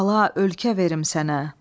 Qala, ölkə verim sənə.